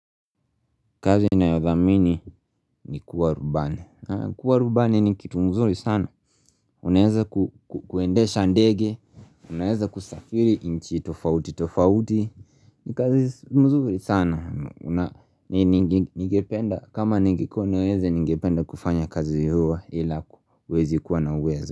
Kazi ninayodhamini ni kuwa rubani kuwa rubani ni kitumzuri sana Unaeza kuendesha ndege Unaeza kusafiri inchi tofauti tofauti ni kazi mzuri sana kama ningekuwa na uwezo ningependa kufanya kazi huwa ila huwezi kuwa na uweza.